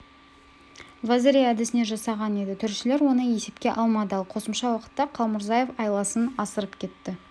вазари әдісіне жасаған еді төрешілер оны есепке алмады ал қосымша уақытта қалмұрзаев айласын асырып кетті